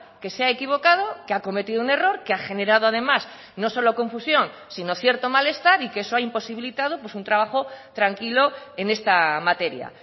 que se ha equivocado que ha cometido un error que ha generado además no solo confusión sino cierto malestar y que eso ha imposibilitado pues un trabajo tranquilo en esta materia